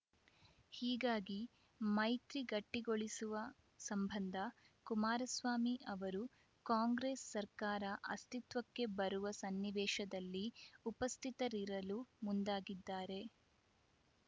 ಹೀಗಾಗಿ ಮೈತ್ರಿ ಗಟ್ಟಿಗೊಳಿಸುವ ಸಂಬಂಧ ಕುಮಾರಸ್ವಾಮಿ ಅವರು ಕಾಂಗ್ರೆಸ್‌ ಸರ್ಕಾರ ಅಸ್ತಿತ್ವಕ್ಕೆ ಬರುವ ಸನ್ನಿವೇಶದಲ್ಲಿ ಉಪಸ್ಥಿತರಿರಲು ಮುಂದಾಗಿದ್ದಾರೆ